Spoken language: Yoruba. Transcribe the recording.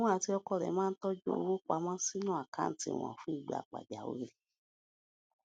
òun àti ọkọ rè máa ń tójú owó pa mó sínú àkáǹtì wọn fún ìgbà pàjáwìrì